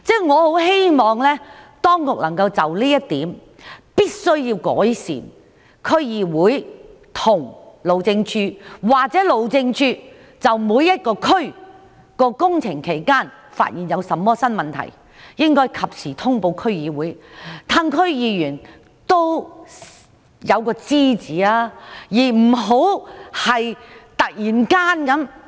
我希望當局能夠就這點作出改善，若路政署在各區進行工程期間發現甚麼新問題，必須及時通報區議會，讓區議員知悉有關事宜。